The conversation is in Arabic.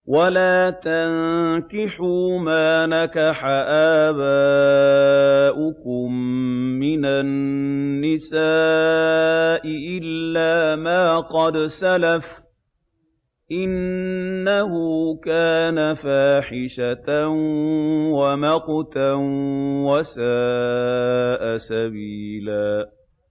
وَلَا تَنكِحُوا مَا نَكَحَ آبَاؤُكُم مِّنَ النِّسَاءِ إِلَّا مَا قَدْ سَلَفَ ۚ إِنَّهُ كَانَ فَاحِشَةً وَمَقْتًا وَسَاءَ سَبِيلًا